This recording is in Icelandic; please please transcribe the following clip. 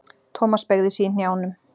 Thomas beygði sig í hnjánum.